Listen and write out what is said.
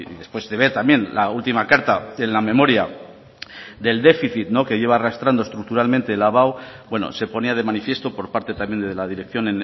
después de ver también la última carta en la memoria del déficit que lleva arrastrando estructuralmente la abao bueno se ponía de manifiesto por parte también de la dirección